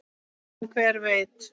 En hver veit!